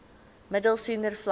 middel senior vlak